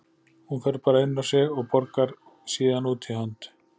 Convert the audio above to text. Hún fer bara inn á sig og borgar síðan út í hönd.